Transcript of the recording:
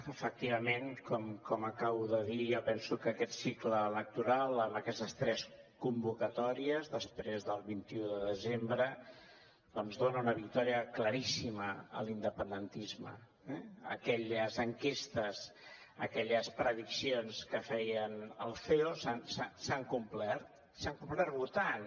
efectivament com acabo de dir jo penso que aquest cicle electoral amb aquestes tres convocatòries després del vint un de desembre doncs dona una victòria claríssima a l’independentisme eh aquelles enquestes aquelles prediccions que feia el ceo s’han complert s’han complert votant